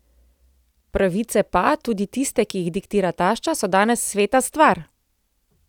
Pravice pa, tudi tiste, ki jih diktira tašča, so danes sveta stvar!